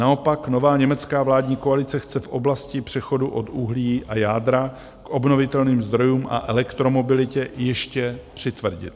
Naopak nová německá vládní koalice chce v oblasti přechodu od uhlí a jádra k obnovitelným zdrojům a elektromobilitě ještě přitvrdit.